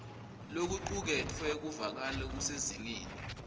lokucuketfwe kuvakala kusezingeni